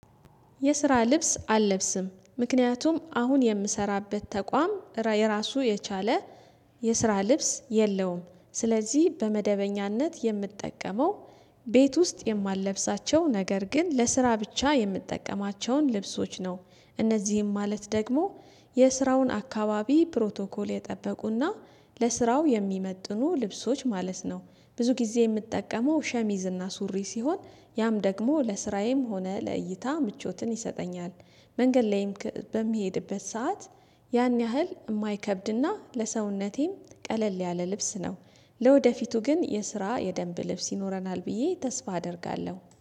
የስራ ልብስ አልለብስም ምክንያቱም አሁን የምሰራበት ተቋም የራሱ የቻለ የስራ ልብስ የለውም ስለዚህ በመደበኛነት የምጠቀመው። ቤት ውስጥ የማለብሳቸው ነገር ግን ለስራ ብቻ የምትጠቀማቸውን ልብሶች ነው። እነዚህም ማለት ደግሞ የስራውን አካባቢ ፕሮቶኮል የጠበቁና ለስራው የሚመጥኑ ልብሶች ማለት ነው። ብዙ ጊዜ የምጠቀመው ሸሚዝና ሱሪ ሲሆን ያም ደግሞ ለስራዬም ሆነ ለእይታ ምቾትን ይሰጠኛል። መንገድ ላይም በምሄድበት ሰዓት ያን ያህል የማይከብድና ለሰውነቴም ቀለል ያለ ልብስ ነው። ለወደፊቱ ግን የስራ የደንብ ልብስ ይኖረናል ብዬ ተስፋ አደርጋለሁ።